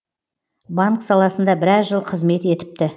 банк саласында біраз жыл қызмет етіпті